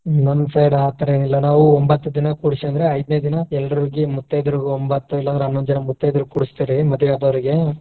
ನಮ್ಮ್ side ಆ ಥರಾ ಏನು ಇಲ್ಲ ನಾವು ಒಂಬತ್ತ್ ದಿನ ಕೂರಿಸಿದ್ರೆ ಐದನೇ ದಿನಾ ಎಲ್ರಿಗೂ ಮುತ್ತೈದೆರಿಗೆ ಒಂಬತ್ತ್ ಇಲ್ಲಾಂದ್ರ ಹನ್ನೊಂದ್ ಜನಾ ಮುತ್ತೈದೆರಿಗೆ ಕೂರಿಸ್ತೀವಿ ಮದ್ವಿ ಅದೋರಿಗೆ.